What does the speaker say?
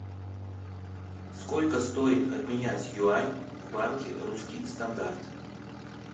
сколько стоит обменять юань в банке русский стандарт